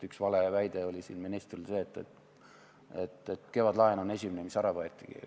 Üks valeväide oli siin ministril see, et kevadlaen on esimene, mis ära võetakse.